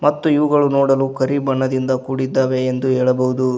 ಮತ್ತು ಇವುಗಳ ನೋಡಲು ಕರಿಬಣದಿಂದ ಕೂಡಿದೆ ಎಂದು ಹೇಳಬಹುದು.